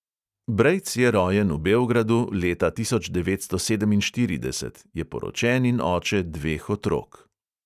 Brejc je rojen v beogradu leta tisoč devetsto sedeminštirideset, je poročen in oče dveh otrok.